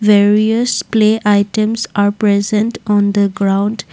various play items are present on the ground.